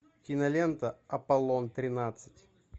кинолента аполлон тринадцать